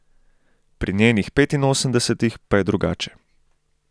Pri njenih petinosemdesetih pa je drugače.